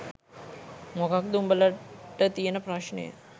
මොකක්ද උඹලට තියෙන ප්‍රශ්නය.